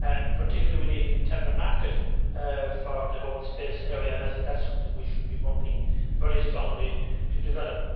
particularly, we need an internal market for the whole space area and I think that is something we should be working very strongly to develop.